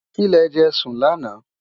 kí lè jé sùn lànà